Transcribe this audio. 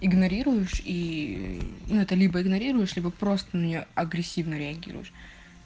игнорируешь и это либо игнорируешь либо просто мне агрессивно реагируешь